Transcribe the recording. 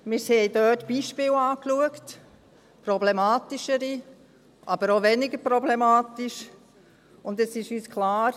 Wir haben uns dort Beispiele angesehen – problematischere, aber auch weniger problematische –, und es war uns klar: